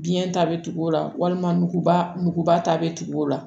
Biɲɛ ta bɛ tugu o la walima nuguba ta bɛ tugu o la